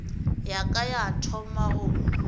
ya ka ya thoma go